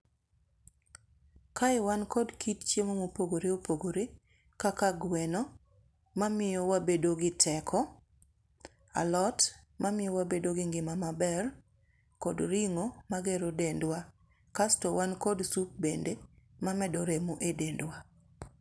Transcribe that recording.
Kae wan kod kit chiemo mopogore opogore kaka gweno mamiyo wabedo gi teko, alot ma miyo wabedo gi ngima maber kod ring'o magero dendwa kasto wan kod sup bende ma medo remo e dendwa.